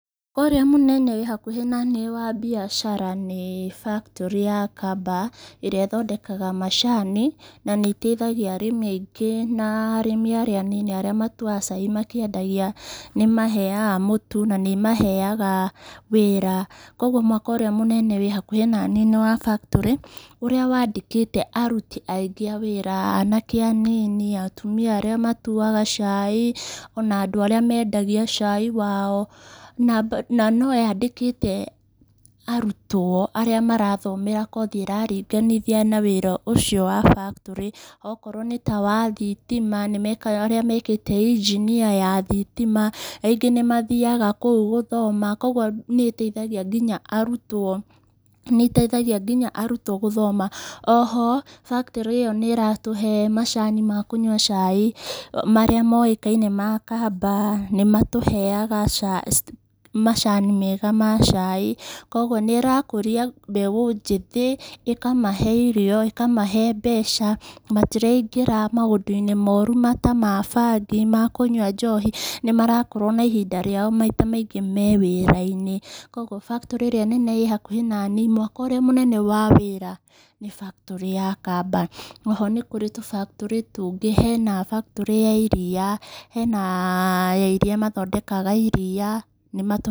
Ũrĩa mũnene wĩ hakuhĩ naniĩ wa mbiacara nĩ factory ya Kambaa, ĩrĩa ĩthondekaga macani na nĩ ĩteithagia arĩmi aingĩ na arĩmi arĩa anini arĩa matuaga cai makĩendagia nĩ ĩmaheaga mũtu, na nĩ ĩmaaheaga wĩra. Koguo mwako ũrĩa mũnene wĩ hakuhĩ na niĩ nĩ wa factory ũrĩa wandĩkĩte aruti aingĩ a wĩra, anake a nini, atumia arĩa matuaga cai, ona andũ arĩa mendagia cai wao. Na no yandĩkĩte arutwo arĩa marathomera kothi ĩraringanithia na wĩra ũcio wa factory, okorwo nĩ ta wa thitima nĩmekaga arĩa mekĩte injinia ya thitima, rĩngĩ nĩ mathiaga kũu gũthoma. Koguo nĩ ĩteithagia ngiya arutwo, nĩ ĩteithagia nginya arutwo gũthoma. O ho factory ĩyo nĩ ĩratũhe macani ma kũnyua cai marĩa mokaine ma Kambaa. Nĩ matuheaga macani mega ma cai. Koguo nĩ ĩrakũia mbeũ njĩthĩ, ĩkamahe irio, ĩkamahe mbeca, matiraingĩra maũndu-inĩ moru ta ma bangi, ta ma kũnyua njohi. Nĩ marakorwo na ihinda rĩao maita maingĩ me wĩra-inĩ. Koguo factory ĩrĩa nene ĩ hakuhĩ naniĩ mwako ũrĩa mũnene wa wĩra nĩ factory ya Kambaa. O ho nĩ kũrĩ tũ factory tũngĩ, hena factory ya iria , hena ya iria mathondekaga iria.